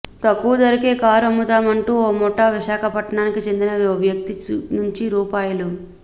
తక్కువ ధరకే కారు అమ్ముతామంటూ ఓ ముఠా విశాఖపట్నానికి చెందిన ఓ వ్యక్తి నుంచి రూ